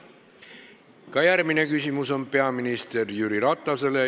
Ka järgmine küsimus on peaminister Jüri Ratasele.